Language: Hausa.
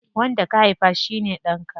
Wanda ka haifa shine ɗanka.